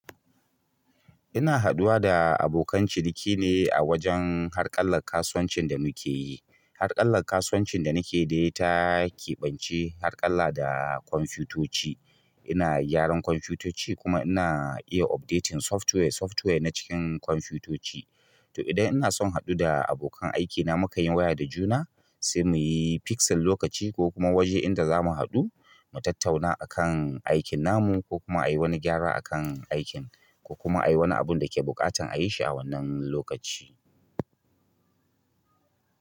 Ina haduwa da abokan ciniki ne a wajen harƙallar kasuwancin da muke yi. Harƙalla kasuwancin da nake yi ta keɓance harƙalla da kwamfutoci. Ina gyaran kwamfutoci kuma ina iya updating software, software na cikin kwamfutoci. To, idan ina son haɗu da abokan aikina, muka yi waya da juna, sai muyi fixing lokaci ko kuma waje inda za mu haɗu, mu tattauna akan aikin namu ko kuma a yi wani gyara akan aikin ko kuma a yi wani abun da ke buƙatan a yi shi a wannan lokaci.